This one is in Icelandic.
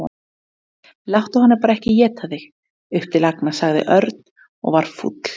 Láttu hana bara ekki éta þig upp til agna sagði Örn og var fúll.